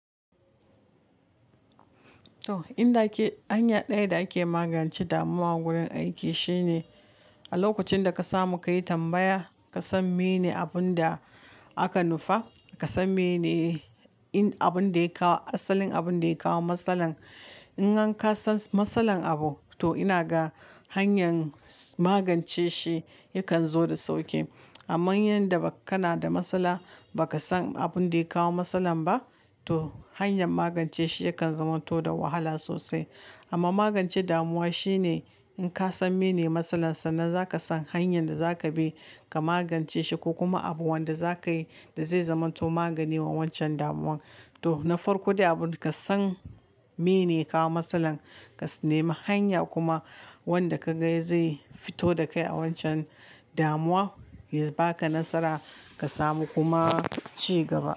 To, inda ake hanya ɗaya da ake magance damuwa wurin aiki shine a lokacin da ka samu ka yi tambaya, ka san mene abun da aka nufa, ka san mene in abun da ya kawo asalin abun da ya kawo matsalar. In gan ka san matsalar abu, to ina ga hanyar magance shi yakan zo da sauƙi. Amma yanda kana da matsala baka san abun da ya kawo matsalar ba, to hanyar magance shi yakan zamanto da wahala sosai. Amma magance damuwa shine in ka san mene matsalar sa nan zaka san hanyar da zaka bi ka magance shi ko kuma abubuwan da za ka yi da zai zamanto magani ma wancan damuwan. To, na farko dai abun da ka san mene ya kawo matsalar, ka nemi hanya kuma wanda ka ga zai fito da kai a wancan damuwa, ya baka nasara ka samu kuma ci gaba.